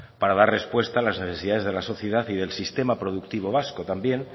para dar respuesta a las necesidades de la sociedad y del sistema productivo vasco también